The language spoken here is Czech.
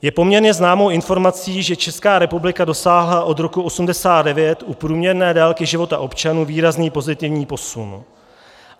Je poměrně známou informací, že Česká republika dosáhla od roku 1989 u průměrné délky života občanů výrazný pozitivní posun.